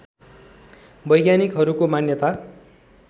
वैज्ञानिकहरूको मान्यता